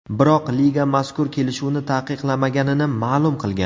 Biroq liga mazkur kelishuvni taqiqlamaganini ma’lum qilgan.